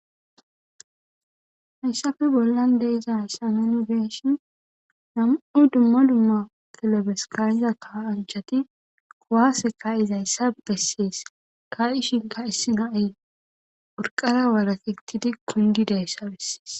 Haysa bolla de'izasan nu beyishin nam'u dumma dumma kilebes ka'iza kasanchati ka'iza ka'izaysa beses. Ka'ishika issi na'ay urqara walaketidi kundidaysa besses.